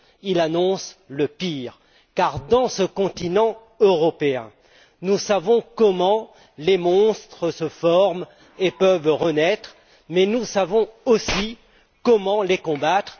Il annonce le pire car, dans ce continent européen, nous savons comment les monstres se forment et peuvent renaître, mais nous savons aussi comment les combattre.